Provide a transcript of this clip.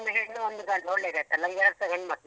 ಒಂದು ಹೆಣ್ಣು ಒಂದು ಗಂಡು ಒಳ್ಳೆದಾಯ್ತಲಾ ನನ್ಗೆ ಎರಡ್ಸ ಗಂಡ್ ಮಕ್ಳೆ.